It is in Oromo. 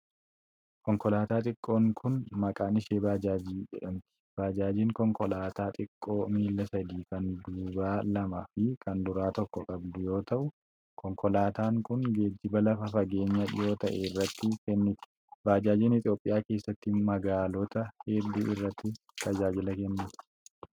Konkolaataa xiqqoon kun, maqaan ishee baajaajii jedhamti. Baajaajiin konkolaataa xiqqoo miila sadii kan duubaa lamaa fi kan fuuluraa tokko qabdu yoo ta'u, konkolaataan kun geejiba lafa fageenya dhihoo ta'e irratti kenniti. Baajaajiin Itoophiyaa keessatti, magaalota hedduu irratti tajaajila kenniti.